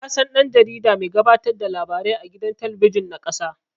Nasan dan-jarida mai gabatar da labarai a gidan talabijin na ƙasa